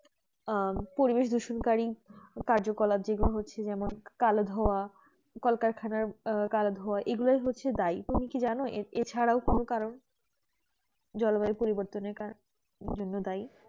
আহ পরিবেশ দূষণকারী কার্যকলাপ যে রকম হচ্ছে যেমন কালো ধোঁয়া কারখানা কালো ধোঁয়া এগুলি সবই দেয় তুমি কি জানো তা ছাড়া কোন কারণ জলবায়ু পরিবর্তনের কারণ কি জন্য দায়ী